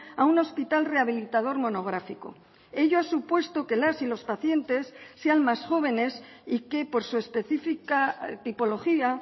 a un hospital rehabilitador monográfico ello ha supuesto que las y los pacientes sean más jóvenes y que por su específica tipología